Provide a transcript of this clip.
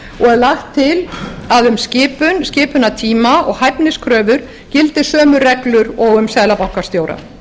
lagt til að um skipun skipunartíma og hæfniskröfur gildi sömu reglur og um seðlabankastjóra